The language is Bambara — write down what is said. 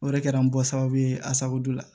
O de kɛra n bɔ sababu ye a sago don la